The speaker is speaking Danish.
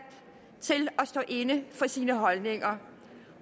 til at stå inde for sine holdninger